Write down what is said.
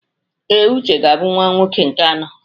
Ee, Uche ga-abụ nwa nwoke nke anọ.